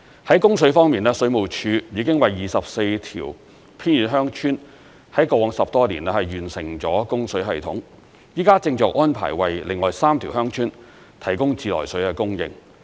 在供水方面，水務署已經為24條偏遠鄉村，在過往10多年，完成了供水系統，現正安排為另外3條鄉村提供自來水的供應。